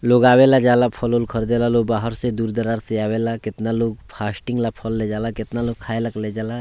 लोग आवेला जाला फल-उल ख़रीदेला लो बाहर से दूर-दरार से आवेला केतना लोग फास्टिंग ले फल ले जाला केतना लोग खाय ले फल ले जावेला।